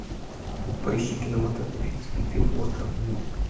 поищи кинематографический фильм остров ним